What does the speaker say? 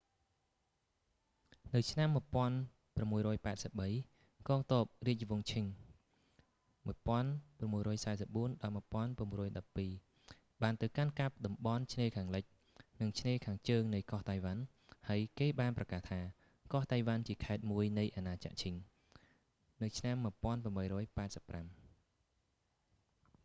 នៅឆ្នាំ 1683 កងទ័ពរាជវង្សឈិង qing 1644-1912 បានទៅកាន់កាប់តំបន់ឆ្នេរខាងលិច និងឆ្នេរខាងជើងនៃកោះតៃវ៉ាន់ ហើយគេបានប្រកាសថា កោះតៃវ៉ាន់ជាខេត្តមួយនៃអាណាចក្រឈិង qing empire នៅឆ្នាំ 1885